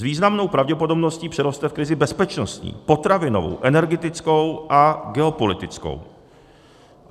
S významnou pravděpodobností přeroste v krizi bezpečnostní, potravinovou, energetickou a geopolitickou.